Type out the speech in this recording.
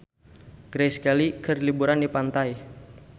Grace Kelly keur liburan di pantai